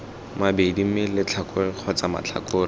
mabedi mme letlhakore kgotsa matlhakore